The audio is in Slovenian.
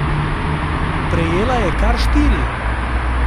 Prejela je kar štiri.